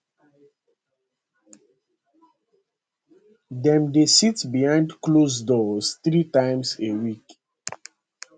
dem dey sit behind closed doors three times a week